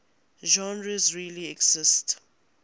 genres really exist